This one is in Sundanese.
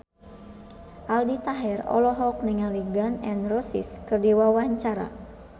Aldi Taher olohok ningali Gun N Roses keur diwawancara